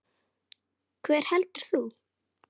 Hver heldur þú?